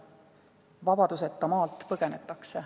Vabaduseta maalt põgenetakse.